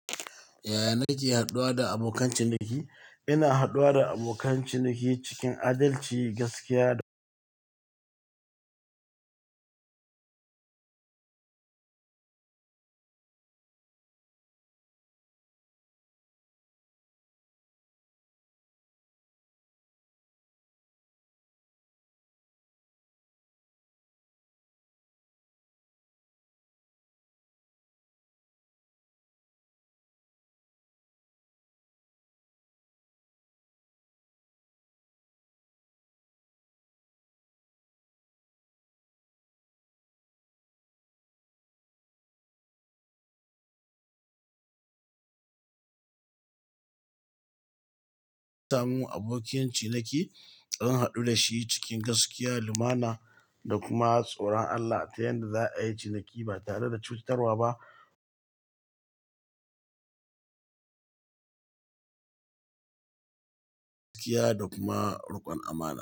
Yaya nake haɗuwa da abokan ciniki? Ina haɗuwa da abokan ciniki cikin adalci, gaskiya da samin abokiyan ciniki, zan haɗu da shi cikin gaskiya, lumana da kuma tsoron Allah ta yadda za a yi ciniki ba tare da cutarwa ba. Gaskiya da kuma riƙon amana.